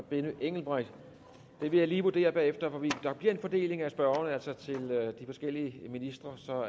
benny engelbrecht jeg vil lige vurdere bagefter hvorvidt der bliver en fordeling af spørgerne til de forskellige ministre så